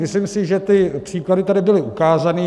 Myslím si, že ty příklady tady byly ukázány.